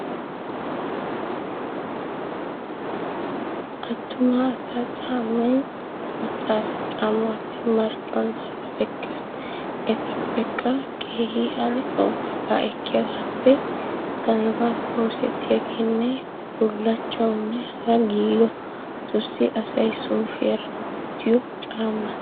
Attuma asa caammay macca asa caammaappe marccuwan daruwaa ekkees. Etappekke keehi adhdho waagaa ekkiyaageeppe galbbaappe oosettiyaagaanne bullachawunne hara gitagiigotussi asay suufiyaara wottiyoo caammata.